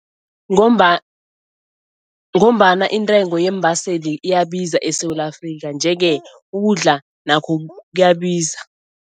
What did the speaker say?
Ngombana intengo yeembaseli iyabiza eSewula Afrika nje-ke ukudla nakho kuyabiza.